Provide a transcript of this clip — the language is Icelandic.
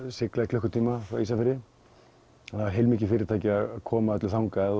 sigla í klukkutíma frá Ísafirði það er heilmikið fyrirtæki að koma öllu þangað